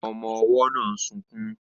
Ọmọ-ọwọ́ náà ń sunkún